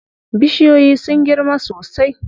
Bishiyoyin sun girma sosai.